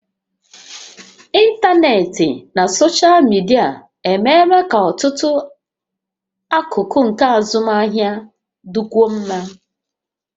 Ịntanetị na soshal midia emeela ka ọtụtụ akụkụ nke azụmahịa dịkwuo mma